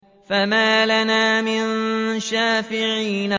فَمَا لَنَا مِن شَافِعِينَ